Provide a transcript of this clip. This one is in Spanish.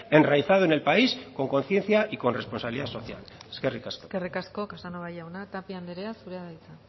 enraizado en el país con conciencia y con responsabilidad social eskerrik asko eskerrik asko casanova jauna tapia andrea zurea da hitza